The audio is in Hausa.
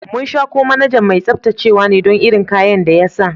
Mun sha ko manajan mai tsabtacewa ne dan irin kayan da ya sa.